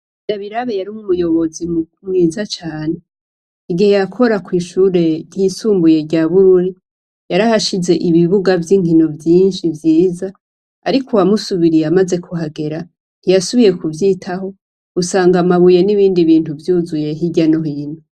Ndabirabe yari umuyobozi mwiza cane. Igihe yakora kw'ishure ryisumbuye rya Bururi, yarahashize ibibuga vy'inkino vyinshi vyiza ariko uwamusubiriye amaze kuhagera ntiyasubiriye kuvyitaho, usanga amabuye n'ibindi bintu vyuzuye hirya no hino.